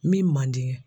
Min man di